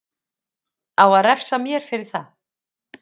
Á að refsa mér fyrir það?